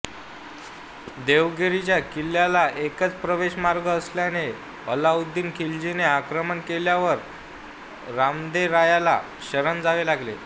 देवगिरीच्या किल्ल्याला एकच प्रवेशमार्ग असल्याने अल्लाउद्दीन खिलजीने आक्रमण केल्यावर रामदेवरायाला शरण जावे लागले